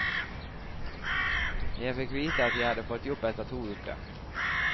Jeg fikk vite at jeg hadde fått jobb etter to uker.